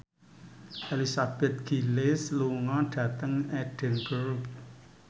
Elizabeth Gillies lunga dhateng Edinburgh